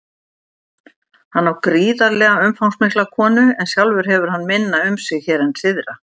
Hann á gríðarlega umfangsmikla konu en sjálfur hefur hann minna um sig hér en syðra.